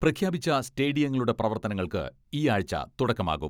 പ്രഖ്യാപിച്ച സ്റ്റേഡിയങ്ങളുടെ പ്രവർത്തനങ്ങൾക്ക് ഈ ആഴ്ച തുടക്കമാകും.